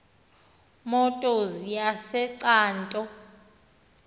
motors yase cato